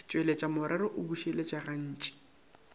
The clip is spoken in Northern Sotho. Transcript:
tšweletša morero o bušeletša gantši